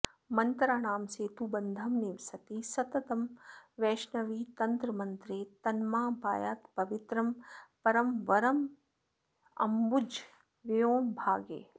मन्त्राणां सेतुबन्धं निवसति सततं वैष्णवीतन्त्रमन्त्रे तन्मां पायात्पवित्रं परमवरमजम्भूतलव्योमभागे